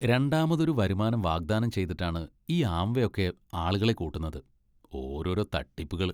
രണ്ടാമതൊരു വരുമാനം വാഗ്ദാനം ചെയ്തിട്ടാണ് ഈ ആംവേ ഒക്കെ ആളെ കൂട്ടുന്നത്, ഓരോരോ തട്ടിപ്പുകൾ!